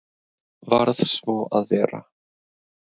Varð svo að vera.